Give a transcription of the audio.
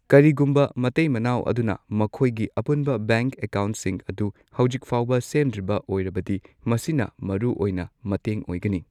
ꯀꯔꯤꯒꯨꯝꯕ ꯃꯇꯩ ꯃꯅꯥꯎ ꯑꯗꯨꯅ ꯃꯈꯣꯏꯒꯤ ꯑꯄꯨꯟꯕ ꯕꯦꯡꯛ ꯑꯦꯀꯥꯎꯟꯠꯁꯤꯡ ꯑꯗꯨ ꯍꯧꯖꯤꯛ ꯐꯥꯎꯕ ꯁꯦꯝꯗ꯭ꯔꯤꯕ ꯑꯣꯏꯔꯕꯗꯤ ꯃꯁꯤꯅ ꯃꯔꯨꯑꯣꯏꯅ ꯃꯇꯦꯡ ꯑꯣꯏꯒꯅꯤ